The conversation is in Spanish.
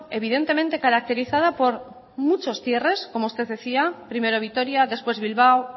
evidentemente caracterizada por muchos cierres como usted decía primero vitoria después bilbao